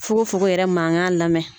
Fokofoko yɛrɛ mankan lamɛn